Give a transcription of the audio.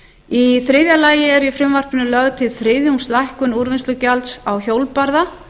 í þriðja lagi er í frumvarpinu lögð til þriðjungslækkun úrvinnslugjalds á hjólbarða